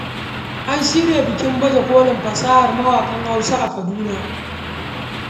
An shirya bikin baje kolin fasahar mawaƙan Hausa a Kaduna